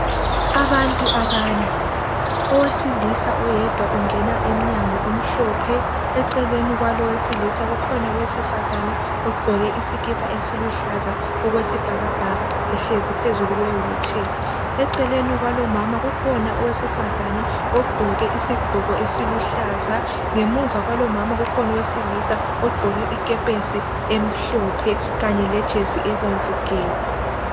Abantu abane. Owesilisa oyedwa ungena emnyango omhloohe. Eceleni kwalo owesilisa , kukhona owesifazane, ogqoke isikipa esiluhlaza okwesibhakabhaka, ehlezi phezulu kwewheelchair. Eceleni kwalo umama kukhona iwesifazana ogqoke isigqoko esiluhlaza. Ngemuva kwalo umama kukhona owesilisa ogqoke ikepesi emhlophe. Kanye lejesi ebomvu gebhu.